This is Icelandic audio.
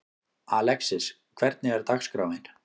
Alexis, hvernig er dagskráin?